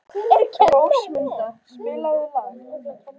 Rósmunda, spilaðu lag.